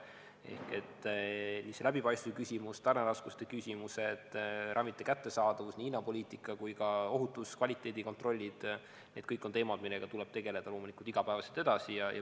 Ehk läbipaistvuse küsimus, tarneraskuste küsimused, ravimite kättesaadavus, nii hinnapoliitika kui ka ohutus- ja kvaliteedikontroll – need kõik on teemad, millega tuleb tegeleda loomulikult iga päev edasi.